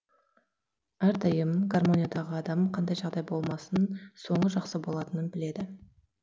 әрдайым гаромниядағы адам қандай жағдай болмасын соңы жақсы болатынын біледі